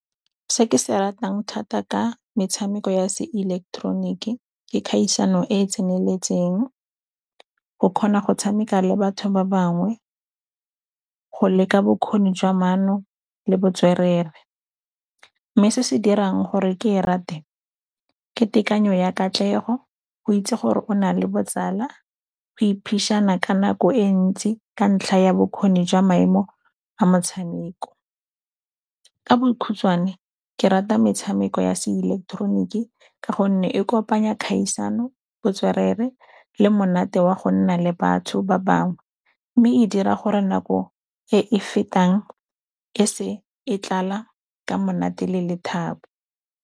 Se ke se ratang thata ka metshameko ya seileketeroniki ke kgaisano e tseneletseng, go kgona go tshameka le batho ba bangwe, go leka bokgoni jwa maano le botswerere. Mme se se dirang gore ke e rate ke tekanyo ya katlego, go itse gore o na le botsala, go ka nako e ntsi ka ntlha ya bokgoni jwa maemo a motshameko. Ka bokhutshwane ke rata metshameko ya seileketeroniki ka gonne e kopanya kgaisano, botswerere le monate wa go nna le batho ba bangwe mme e dira gore nako e e fetang e se e tlala ka monate le lethabo.